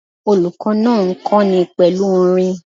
Olùkó náà n kóni pèlú orin